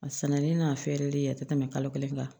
A sɛnɛnen n'a fɛrɛlen a tɛ tɛmɛ kalo kelen kan